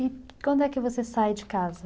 E quando é que você sai de casa?